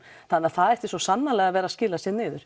það ætti svo sannarlega að vera að skila sér niður